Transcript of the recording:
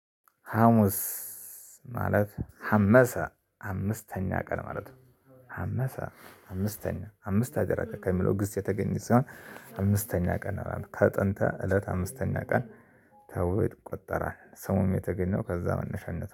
ሀሙስ ማለት ሀመሳ አምስተኛ ቀን ማለት ነው። ሀመሳ አምስተኛ አምስት አደረገ ከሚለው ግስ የተገኘ ሲሆን አምስተኛ ቀን አላለም ከጥንተ እለት አምስተኛ ቀን ተብሎ ይቆጠራል። ስሙም የተገኘው ከዛ መነሻነት ነው